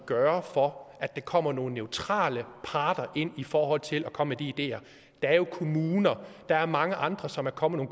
gøre for at der kommer nogle neutrale parter ind i forhold til at komme ideer der er jo kommuner der er mange andre som er kommet